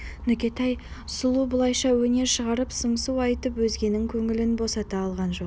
нүкетай сұлу бұлайша өнер шығарып сыңсу айтып өзгенің көңілін босата алған жоқ